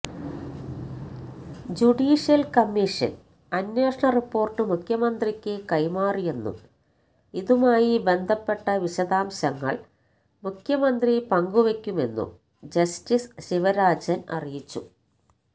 judicial commission അന്വേഷണ report മുഖ്യമന്ത്രിയ്ക്ക് കൈമാറിയെന്നും ഇതുമായി ബന്ധപ്പെട്ട വിശദാംശങ്ങള് മുഖ്യമന്ത്രി പങ്കുവെയ്ക്കുമെന്നും ജസ്റ്റിസ് ശിവരാജന് അറിയിച്ചു